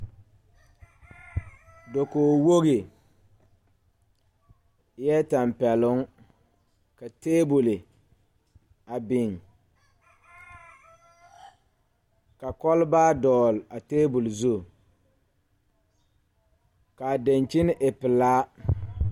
Dokoge woge eɛɛ tampɛloŋ ka tabole a biŋ ka kɔlbaa dɔɔle a tabole zu kaa dankyini e pelaa.